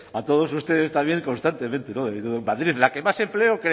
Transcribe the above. a todos ustedes también constantemente madrid la que más empleo